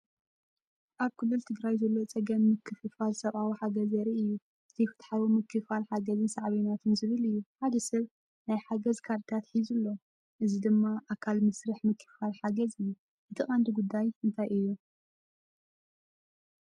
ኣብ ክልል ትግራይ ዘሎ ፀገም ምክፍፋል ሰብኣዊ ሓገዝ ዘርኢ እዩ። (ዘይፍትሓዊ ምክፍፋል ሓገዝን ሳዕቤናቱን) ዝብል እዩ። ሓደ ሰብ ናይ ሓገዝ ካርድታት ሒዙ ኣሎ፡ እዚ ድማ ኣካል መስርሕ ምክፍፋል ሓገዝ እዩ። እቲ ቀንዲ ጉዳይ እንታይ እዩ?